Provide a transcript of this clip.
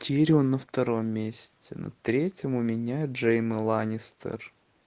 тирион на втором месяце на третьем у меня джейме ланнистер